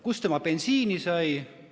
Kust tema bensiini sai?